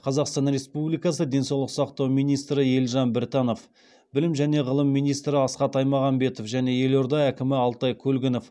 қазақстан республикасы денсаулық сақтау министрі елжан біртанов білім және ғылым миинстрі асхат аймағамбетов және елорда әкімі алтай көлгінов